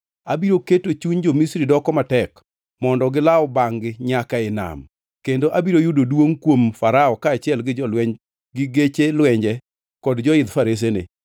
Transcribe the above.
Abiro keto chuny jo-Misri doko matek mondo gilaw bangʼ-gi nyaka ei nam. Kendo abiro yudo duongʼ kuom Farao kaachiel gi jolweny gi geche lwenje kod joidh faresene.